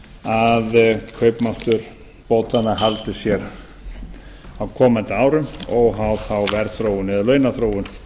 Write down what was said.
að kaupmáttur bótanna haldi sér á komandi árum óháð þá verðþróun eða launaþróun